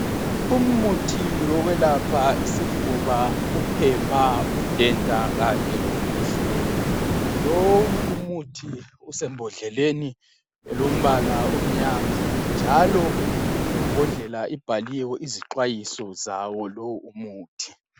Umuthi wokwelapha isifuba, uphepha, udenda kanye loku khwehlela. Lowu umuthi usembodleleni elombala omnyama njalo imbodlela ibhaliwe izixwayiso zawo lo umuthi.